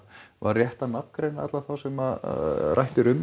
var rétt að nafngreina alla þá sem rætt er um